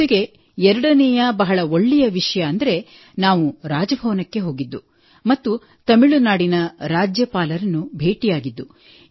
ಜೊತೆಗೆ ಎರಡನೆಯ ಬಹಳ ಒಳ್ಳೆಯ ವಿಷಯವೆಂದರೆ ನಾವು ರಾಜಭವನಕ್ಕೆ ಹೋಗಿದ್ದು ಮತ್ತು ತಮಿಳುನಾಡಿನ ರಾಜ್ಯಪಾಲರನ್ನು ಭೇಟಿಯಾಗಿದ್ದು